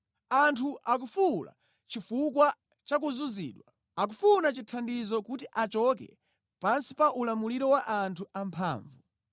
“Anthu akufuwula chifukwa cha kuzunzidwa; akufuna chithandizo kuti achoke pansi pa ulamuliro wa anthu amphamvu.